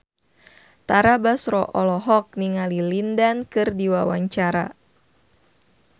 Tara Basro olohok ningali Lin Dan keur diwawancara